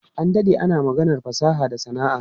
An dade ana maganar fasaha da sana'a.